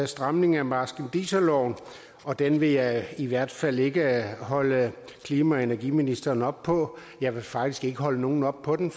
stramning af marskandiserloven og den vil jeg i hvert fald ikke holde klima og energiministeren op på jeg vil faktisk ikke holde nogen op på den